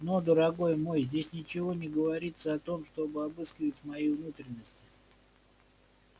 но дорогой мой здесь ничего не говорится о том чтобы обыскивать мои внутренности